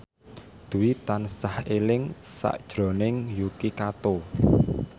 Dwi tansah eling sakjroning Yuki Kato